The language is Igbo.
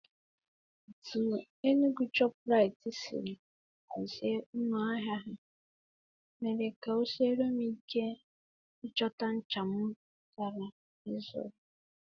Otú Enugwu shọpụraitii si ahazi ụlọ ahịa ahụ mere ka o siere m ike ịchọta ncha m gara ịzụrụ.